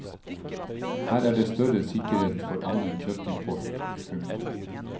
Her er det større sikkerhet enn for annen kjøttimport. punktum